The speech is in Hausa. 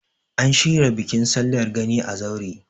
an shirya bikin sallar gani a kazaure